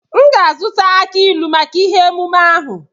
M ga azụta aki ilu maka ihe emume ahu.